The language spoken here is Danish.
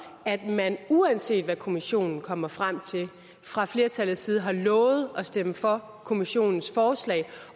at man uanset hvad kommissionen kommer frem til fra flertallets side har lovet at stemme for kommissionens forslag